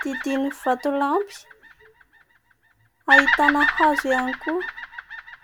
didinin'ny vato lampy ahitana hazo ihany koa.